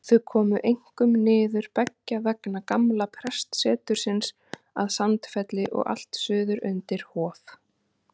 Þau komu einkum niður beggja vegna gamla prestsetursins að Sandfelli og allt suður undir Hof.